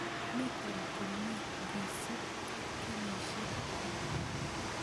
mi Tom komyee ngisub ak kenyisheck chii